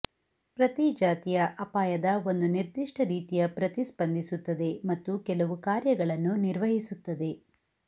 ಪ್ರತಿ ಜಾತಿಯ ಅಪಾಯದ ಒಂದು ನಿರ್ದಿಷ್ಟ ರೀತಿಯ ಪ್ರತಿಸ್ಪಂದಿಸುತ್ತದೆ ಮತ್ತು ಕೆಲವು ಕಾರ್ಯಗಳನ್ನು ನಿರ್ವಹಿಸುತ್ತದೆ